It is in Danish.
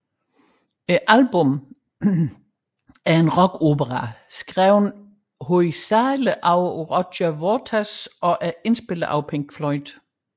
Albummet er en rockopera skrevet hovedsageligt af Roger Waters og er indspillet af Pink Floyd